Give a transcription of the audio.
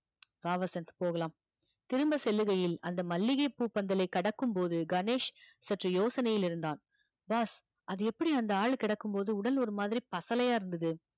வா வசந்த் போகலாம் திரும்ப செல்லுகையில் அந்த மல்லிகை பூ பந்தலை கடக்கும்போது கணேஷ் சற்று யோசனையில் இருந்தான் boss அது எப்படி அந்த ஆள் கிடக்கும் போது உடல் ஒரு மாதிரி பசலையா இருந்தது